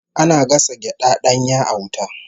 Ana gasa gyada danya a wuta